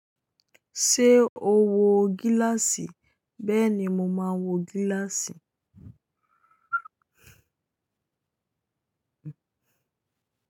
Ṣé o wo gíláàsì? Bẹ́ẹ̀ ni, mo máa wo gíláàsì.